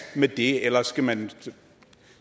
med det eller skal man